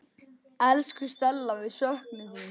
Elsku Stella, við söknum þín.